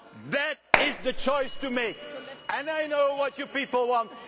administration. That is the choice to be made, and I know what your